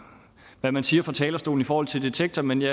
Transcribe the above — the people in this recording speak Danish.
hvad man siger på talerstolen i forhold til detektor men det